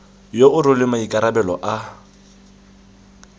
yo o rweleng maikarabelo a